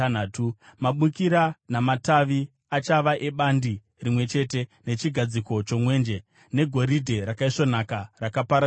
Mabukira namatavi achava ebandi rimwe chete nechigadziko chomwenje, negoridhe rakaisvonaka rakapambadzirwa.